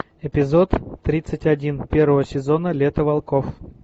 эпизод тридцать один первого сезона лето волков